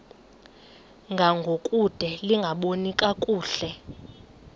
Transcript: ngangokude lingaboni kakuhle